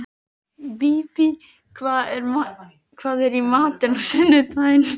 Bíbí, hvað er í matinn á sunnudaginn?